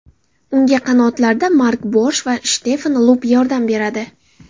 Unga qanotlarda Mark Borsh va Shtefan Lupp yordam beradi.